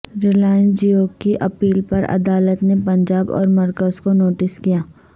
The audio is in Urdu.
ریلائنس جیو کی اپیل پر عدالت نے پنجاب اورمرکز کو نوٹس کیا